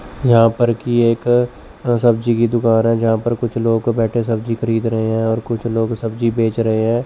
यहां पर कि एक अह सब्जी की दुकान है जहा पर कुछ लोग बैठे सब्जी खरीद रहे है और कुछ लोग सब्जी बेच रहे है।